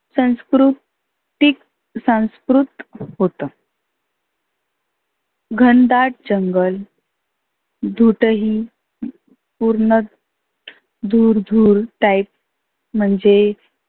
संस्कृ तीक सांस्कृत होतं. घनदाट जंगल दुदही पुर्ण धुर धुर type म्हणजे